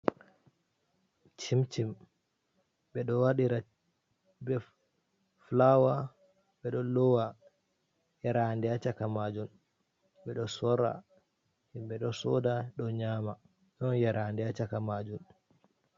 Chim - chim ɓe ɗo waɗira be fulawa, ɓeɗo lowa yerande ha shaka majun, ɓeɗo sorra, himɓe ɗo soda, ɗo nyama ɗon yerande ha shaka majum.